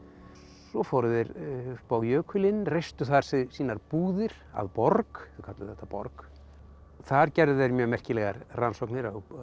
svo fóru þeir upp á jökulinn reistu þar sínar búðir að borg kölluðu þetta borg þar gerðu þeir mjög merkilegar rannsóknir